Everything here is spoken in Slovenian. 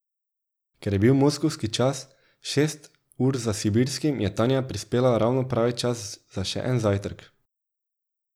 Ker je bil moskovski čas šest ur za sibirskim, je Tanja prispela ravno pravi čas za še en zajtrk.